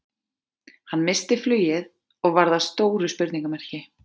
Hann missti flugið og varð að stóru spurningamerki.